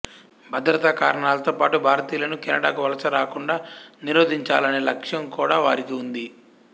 భద్రతా కారణాలతో పాటు భారతీయులను కెనడాకు వలస రాకుండా నిరోధించాలనే లక్ష్యం కూడా వారికి ఉంది